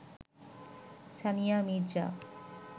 Sania Mirza